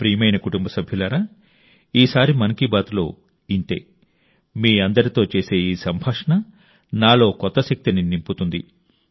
నా ప్రియమైన కుటుంబ సభ్యులారా ఈసారి మన్ కీ బాత్లో ఇంతే మీ అందరితో చేసే ఈ సంభాషణ నాలో కొత్త శక్తిని నింపుతుంది